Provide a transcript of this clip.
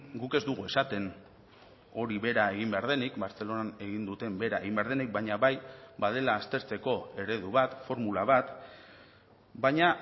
guk ez dugu esaten hori bera egin behar denik bartzelonan egin duten bera egin behar denik baina bai badela aztertzeko eredu bat formula bat baina